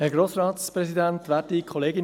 Kommissionspräsident der SAK.